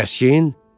Kəskin?